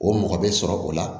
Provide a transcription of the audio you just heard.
O mɔgɔ bɛ sɔrɔ o la